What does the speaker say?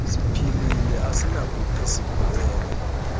siphilile asinakude sibhalele